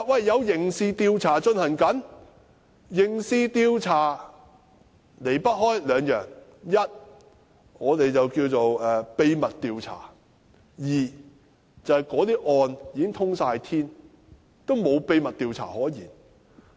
有刑事調查進行中，離不開兩件事，一是正進行秘密調查，二是案件已"通天"，沒有秘密調查可言。